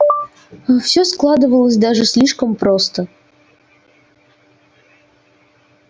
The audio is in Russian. все складывалось даже слишком просто